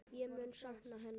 Ég mun sakna hennar.